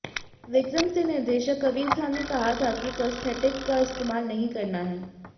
विक्रम से निर्देशक कबीर खान ने कहा था कि प्रॉस्थेटिक का इस्तेमाल नहीं करना है